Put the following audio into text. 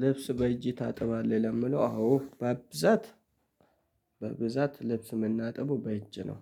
ልብስ በእጅ ታጥባለህ ለሚለው አዎ በብዛት በብዛት ልብስ የምናጥበው በእጅ ነው።